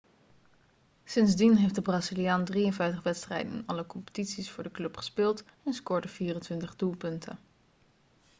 sindsdien heeft de braziliaan 53 wedstrijden in alle competities voor de club gespeeld en scoorde 24 doelpunten